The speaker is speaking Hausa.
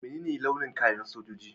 Mene ne launin kayan sojoji?